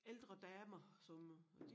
Ældre damer som øh